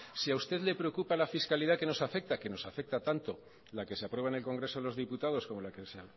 si a usted le preocupa la fiscalidad que nos afecta que nos afecta tanto la que se aprueba en el congreso de los diputados como la que se